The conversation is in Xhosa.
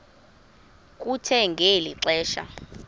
kuthe ngeli xesha